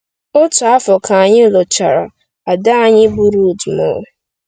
Otu afọ ka anyị lụchara, ada anyị bụ́ Rut mụrụ.